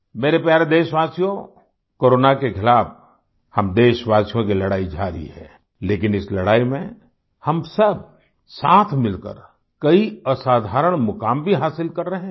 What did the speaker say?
मेरे प्यारे देशवासियो कोरोना के खिलाफ़ हम देशवासियों की लड़ाई जारी हैलेकिन इस लड़ाई में हम सब साथ मिलकर कई असाधारण मुकाम भी हासिल कर रहे हैं